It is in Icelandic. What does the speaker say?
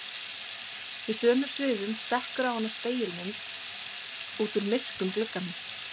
Í sömu svifum stekkur á hana spegilmynd út úr myrkum glugganum.